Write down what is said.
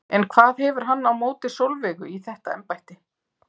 En hvað hefur hann á móti Sólveigu í þetta embætti?